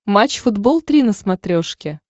матч футбол три на смотрешке